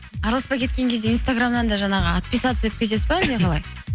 араласпай кеткен кезде инстаграмнан да жаңағы отписаться етіп кетесіз бе әлде қалай